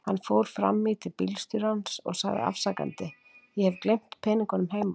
Hann fór fram í til bílstjórans og sagði afsakandi: Ég hef gleymt peningunum heima.